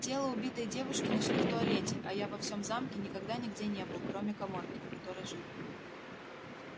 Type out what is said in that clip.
тело убитой девушки нашли в туалете а я во всём замке никогда нигде не был кроме каморки в которой жил